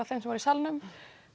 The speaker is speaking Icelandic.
þeim sem voru í salnum